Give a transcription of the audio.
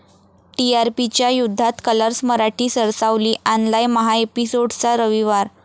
टीआरपीच्या युद्धात कलर्स मराठी सरसावली, आणलाय महाएपिसोड्सचा रविवार